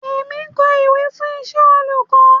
Èmi ń kọ ìwé fún iṣẹ́ olùkọ́.